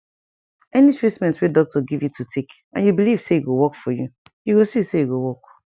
any treatment wey doctor give you to take and you belive say e go work for you you go see say e go work